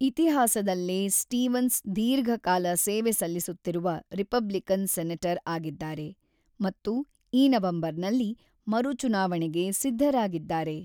ಇತಿಹಾಸದಲ್ಲೇ ಸ್ಟೀವನ್ಸ್ ದೀರ್ಘಕಾಲ ಸೇವೆ ಸಲ್ಲಿಸುತ್ತಿರುವ ರಿಪಬ್ಲಿಕನ್ ಸೆನೆಟರ್ ಆಗಿದ್ದಾರೆ ಮತ್ತು ಈ ನವೆಂಬರ್‌ನಲ್ಲಿ ಮರುಚುನಾವಣೆಗೆ ಸಿದ್ಧರಾಗಿದ್ದಾರೆ.